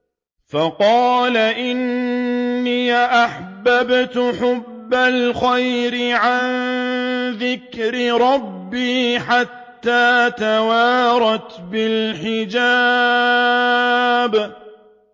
فَقَالَ إِنِّي أَحْبَبْتُ حُبَّ الْخَيْرِ عَن ذِكْرِ رَبِّي حَتَّىٰ تَوَارَتْ بِالْحِجَابِ